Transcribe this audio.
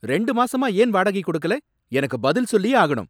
ரெண்டு மாசமா ஏன் வாடகை கொடுக்கல? எனக்கு பதில் சொல்லியே ஆகணும்.